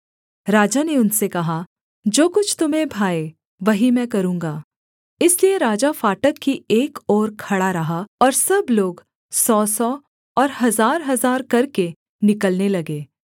राजा ने उनसे कहा जो कुछ तुम्हें भाए वही मैं करूँगा इसलिए राजा फाटक की एक ओर खड़ा रहा और सब लोग सौसौ और हजार हजार करके निकलने लगे